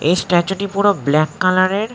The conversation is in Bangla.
এই স্ট্যাচু -টি পুরো ব্ল্যাক কালার -এর ।